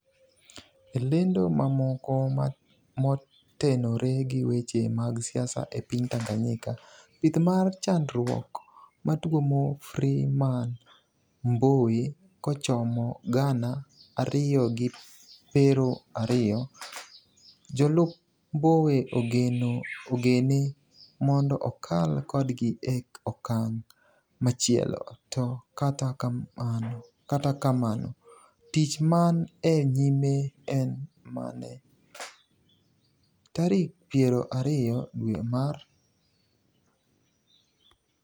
e lendo mamoko motenore gi weche mag siasa e piny tanganyika: pith mar chandruok matuomo Freeman mbowe kochomo gana ariyo gi pero ariyo, jolup Mbowe ogene mondo okal kodgi e okang' machielo, to katakamno tich man e nyime en mane? Tarik piero ariyo dwe mar